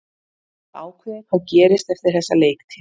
Ég hef ekki ákveðið hvað gerist eftir þessa leiktíð.